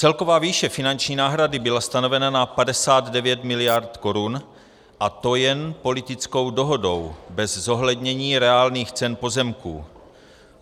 Celková výše finanční náhrady byla stanovena na 59 mld. korun, a to jen politickou dohodou, bez zohlednění reálných cen pozemků.